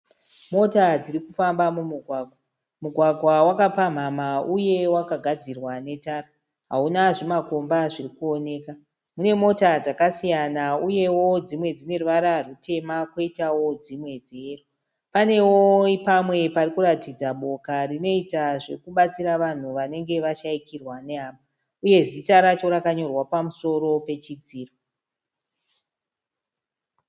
Mota dziri kufamba mumugwagwa. Mugwagwa wakapamhamha uye wakagadzirwa netara hauna zvimakomba zviri kuoneka. Mune mota dzakasiyana uyewo dzimwe dzine ruvara rutema kwoitawo dzimwe dzeyero. Panewo pamwe pari kuratidza boka rinoita zvokubatsira vanhu vanenge vashaikirwa nehama uye zita racho rakanyorwa pamusoro pechidziro.